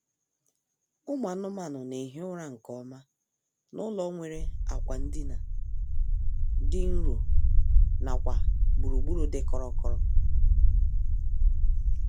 Ụmụ anụmanụ na-ehi ụra nkeọma n'ụlọ nwere akwa ndina dị nro nakwa gburugburu dị kọrọ kọrọ